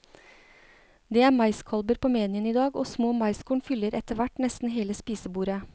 Det er maiskolber på menyen i dag, og små maiskorn fyller etterhvert nesten hele spisebordet.